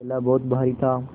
थैला बहुत भारी था